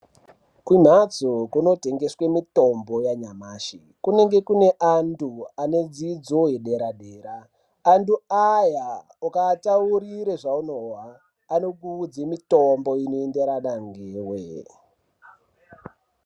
Kumhatso kunotengeswe mitombo yanyamashi kunenge kune antu ane dzidzo yepadera-dera. Antu aya ukaataurira zvaunozwa anokupa mutombo inoenderana newe.